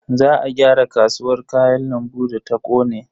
Za a gyara kasuwar Kayan lambu da ta kone.